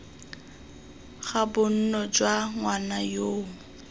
ga bonno jwa ngwana yoo